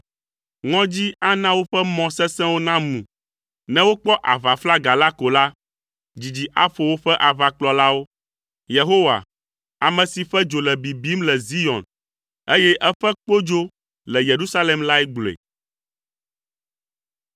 Ŋɔdzi ana woƒe mɔ sesẽwo namu; ne wokpɔ aʋaflaga la ko la, dzidzi aƒo woƒe aʋakplɔlawo.” Yehowa, ame si ƒe dzo le bibim le Zion, eye eƒe kpodzo le Yerusalem lae gblɔe.